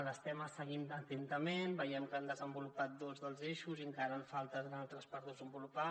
l’estem seguint atentament veiem que han desenvolupat dos dels eixos i encara en falten d’altres per desenvolupar